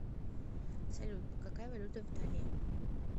салют какая валюта в италии